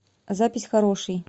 запись хороший